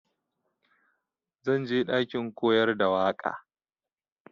Zan je ɗakin koyar da waƙa.